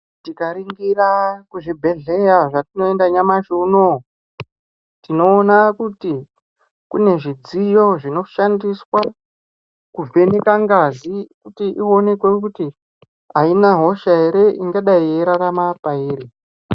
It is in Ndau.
Tikaringira kuzvibhedhleya zvatinoenda nyamashi unowu, tinoona kuti kune zvidziyo zvinoshandiswa kuvheneka ngazi, kuti ionekwe kuti aina hosha ere, ingadai yeirarama pairi.